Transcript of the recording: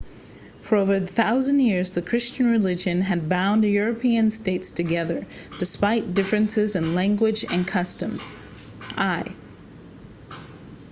for over a thousand years the christian religion had bound european states together despite differences in language and customs i